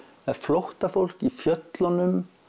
er flóttafólk í fjöllunum